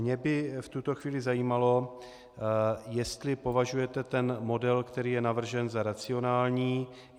Mě by v tuto chvíli zajímalo, jestli považujete ten model, který je navržen, za racionální.